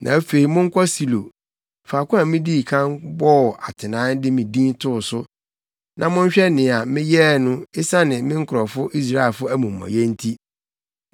“ ‘Na afei monkɔ Silo, faako a midii kan bɔɔ atenae de me Din too so, na monhwɛ nea meyɛɛ no esiane me nkurɔfo Israelfo amumɔyɛ nti.